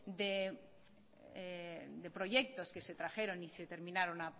de proyectos que se trajeron y se terminaron